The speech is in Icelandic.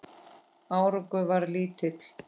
Árangur varð lítill.